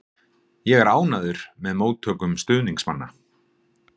Ég er ánægður með móttökum stuðningsmanna.